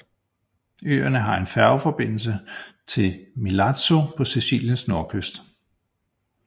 Øerne har færgeforbindelse til Milazzo på Siciliens nordkyst